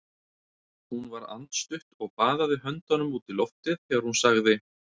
Hún var andstutt og baðaði höndunum út í loftið þegar hún sagði